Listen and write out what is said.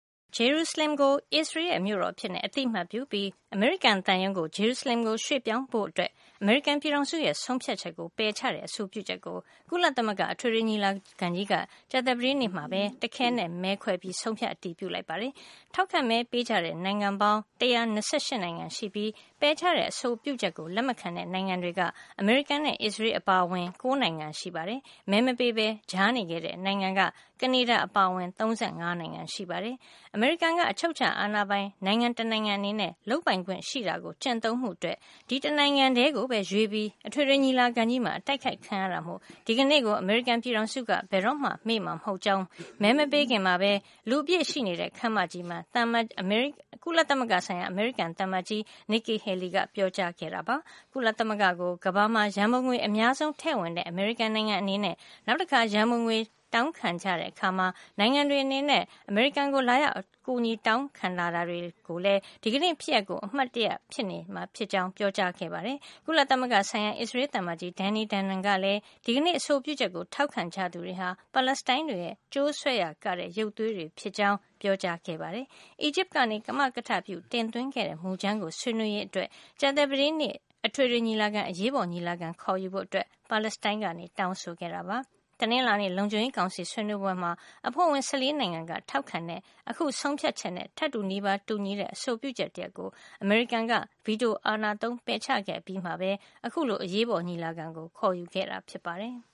ဂျေရုဆလင်ကို အစ္စရေးရဲ့ မြို့တော်အဖြစ် အသိမှတ်ပြုပြီး အမေရိကန် သံရုံးကို ဂျေရုဆလင်ရွှေ့ပြောင်းဖို့ အမေရိကန်ပြည်ထောင်စုရဲ့ ဆုံးဖြတ်ချက်ကို ပယ်ချတဲ့ အဆိုပြုချက်ကို ကုလသမဂ္ဂ အထွေထွေညီလာခံကြီးက ကြာသပတေးနေ့က တခဲနက် မဲခွဲ ဆုံးဖြတ် အတည်ပြု လိုက်ပါတယ်။ ထောက်ခံမဲပေးကြတဲ့ နိုင်ငံပေါင်း ၁၂၈ နိုင်ငံရှိပြီး ပယ်ချတဲ့အဆိုပြုချက်ကို လက်မခံတဲ့ နိုင်ငံတွေက အမေရိကန်နဲ့ အစ္စရေး အပါအဝင် ၉ နိုင်ငံရှိပြီး မဲမပေးပဲ ကြားနေခဲ့ တဲ့နိုင်ငံက ကနေဒါ အပါအဝင် ၃၅ နိုင်ငံ ရှိပါတယ်။ အမေရိကန်က အချုပ်အခြာအာဏာပိုင် နိုင်ငံတနိုင်ငံ အနေနဲ့ လုပ်ပိုင်ခွင့်ရှိတာကို ကျင့်သုံးမှု အတွက် ဒီ်တနိုင်ငံထဲ ကိုပဲ ရွေးပြီး အထွေထွေ ညီလာခံကြီးမှာ အတိုက်ခိုက် ခံရတာမို့ ဒီနေ့ကို အမေရိကန် ပြည်ထောင်စုက ဘယ်တော့မှ မေ့မှာ မဟုတ်ကြောင်း မဲမပေးခင် မှာပဲ လူအပြည့်ရှိနေတဲ့ ခန်းမကြီးမှာ ကုလသမဂ္ဂဆိုင်ရာ အမေရိကန် သံအမတ်ကြီး Nikki Haley က ပြောကြားခဲ့ပါတယ်။ ကုလသမဂ္ဂကို ကမ္ဘာမှာ ရန်ပုံငွေ အများဆုံး ထည့်ဝင်တဲ့ အမေရိကန် နိုင်ငံအနေနဲ့ နောက်တခါ ရန်ပုံငွေတောင်းခံတဲ့ အခါနဲ့ နိုင်ငံတွေ အနေနဲ့ အမေရိကန်ကို လာရောက် အကူအညီ တောင်းခံလာရင်လည်း ဒီနေ့ ဖြစ်ရပ်ကို အမှတ်ရ နေမှာ ဖြစ်ကြောင်း ပြောကြားခဲ့ပါတယ်။ ကုလသမဂ္ဂဆိုင်ရာ အစ္စရေး သံအမတ်ကြီး Danny Danon ကလည်း ဒီကနေ့ အဆိုပြုချက်ကို ထောက်ခံကြသူတွေဟာ ပါလက်စတိုင်းတွေရဲ့ ကြိုးဆွဲရာကတဲ့ ရုပ်သေးတွေဖြစ်ကြောင်း ပြောကြားခဲ့ပါတယ်။ အီဂျစ်က ကမကထ ပြု တင်သွင်းခဲ့တဲ့ မူကြမ်းကို ဆွေးနွေးရေးအတွက် ကြာသပတေးနေ့ အထွေထွေညီလာခံ အရေးပေါ် ညီလာခံ ခေါ်ယူဖို့ ပါလက်စတိုင်းက တောင်းဆိုခဲ့တာပါ။ တနင်္လာနေ့ လုံခြုံရေးကောင်စီ ဆွေးနွေးပွဲမှာ အဖွဲ့ဝင် ၁၄ နိုင်ငံက ထောက်ခံခဲ့တဲ့ အခုဆုံးဖြတ်ချက်နဲ့ ထပ်တူ နီးပါး တူညီတဲ့ အဆိုပြုချက် တရပ်ကို အမေရိကန်က ဗီတို အာဏာသုံး ပယ်ချခဲ့အပြီးမှာ အခုလို အရေးပေါ် ညီလာခံ ခေါ်ယူခဲ့တာ ဖြစ်ပါတယ်။